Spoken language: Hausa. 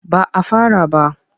Ba a fara ba.